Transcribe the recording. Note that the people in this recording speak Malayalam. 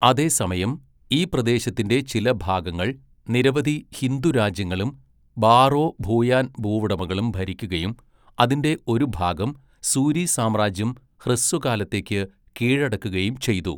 അതേസമയം, ഈ പ്രദേശത്തിന്റെ ചില ഭാഗങ്ങൾ നിരവധി ഹിന്ദു രാജ്യങ്ങളും ബാറോ ഭൂയാൻ ഭൂവുടമകളും ഭരിക്കുകയും അതിന്റെ ഒരു ഭാഗം സൂരി സാമ്രാജ്യം ഹ്രസ്വകാലത്തേക്ക് കീഴടക്കുകയും ചെയ്തു.